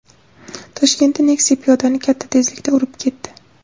Toshkentda Nexia piyodani katta tezlikda urib ketdi .